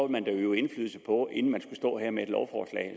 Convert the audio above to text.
vil øve indflydelse på det inden man står her med et lovforslag